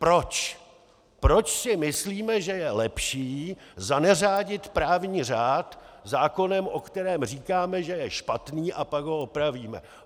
Proč si myslíme, že je lepší zaneřádit právní řád zákonem, o kterém říkáme, že je špatný a pak ho opravíme.